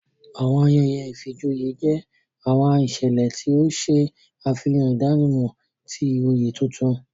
Awọn ayẹyẹ ìfijoyé jẹ awọn iṣẹlẹ ti o ṣe afihan idanimọ ti oyé tuntun.